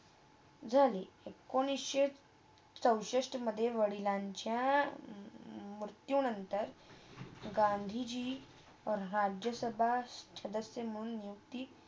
झाली. एकोणीसशे चौसष्टमधे वडिलांच्या म ~मृत्यू नंतर गांधीजी राज्यसभा सदस्य म्हणून नियुक्ती झाली